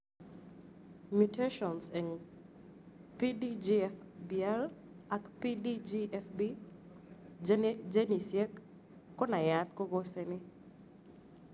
Mutations eng' PDGFBR ak PDGFB genisiek konaiyat kokoseni